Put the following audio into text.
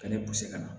Ka ne ka na